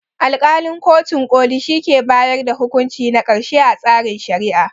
Alƙalin kotun ƙoli shi ke bayar da hukunci na ƙarshe a tsarin Shari'a.